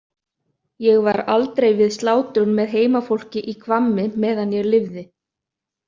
Ég var aldrei við slátrun með heimafólki í Hvammi meðan ég lifði.